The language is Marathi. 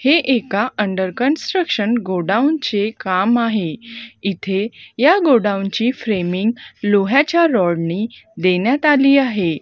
हे एका अंडर कन्स्ट्रक्शन गोडाऊन चे काम आहे इथे या गोडाऊनची फ्रेमिंग लोह्याच्या रॉडनी देण्यात आली आहे.